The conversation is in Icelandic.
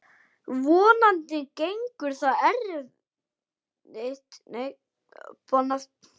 Vonandi gengur það eftir.